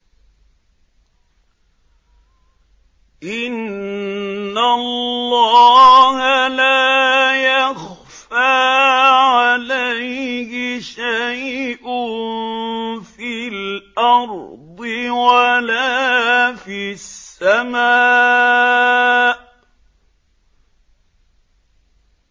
إِنَّ اللَّهَ لَا يَخْفَىٰ عَلَيْهِ شَيْءٌ فِي الْأَرْضِ وَلَا فِي السَّمَاءِ